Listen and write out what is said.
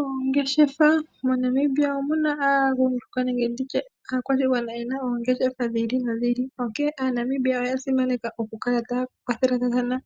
Ongeshefa moNamibia omuna aagundjuka nenge nditye aakwashigwana yena oongeshefa dhili nodhi ili. Onkene aaNamibia oya simaneka oku kala ta kwathela thana